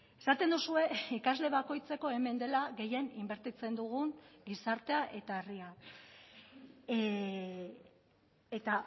esaten duzue ikasle bakoitzeko hemen dela gehien inbertitzen dugun gizartea eta herria eta